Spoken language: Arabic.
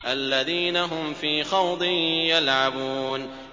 الَّذِينَ هُمْ فِي خَوْضٍ يَلْعَبُونَ